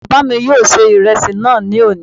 Bàbá mi yóò ṣe ìrẹsì náà ní òní